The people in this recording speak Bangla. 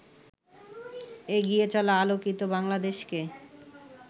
এগিয়ে চলা আলোকিত বাংলাদেশকে